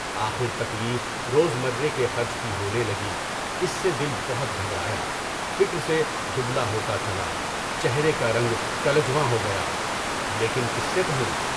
آخر تکلیف روزمرہ کے خرچ کی ہونے لگی، اس سے دل بہت گھبرایا، فکر سے دبلا ہوتا چلا، چہرہ کارنگ کلہجیواں ہو گیا، کیونکہ کس سے کہوں؟